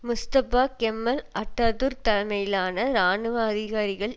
Mustafa Kemal Ataturk தலைமையிலான இராணுவ அதிகாரிகள்